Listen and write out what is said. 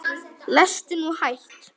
Lestu nú hægt!